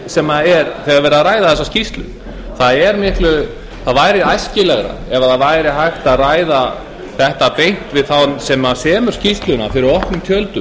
sem er þegar verið er að ræða þessa skýrslu það væri æskilegra ef hægt væri að ræða þetta beint við þann sem semur skýrsluna fyrir opnum tjöldum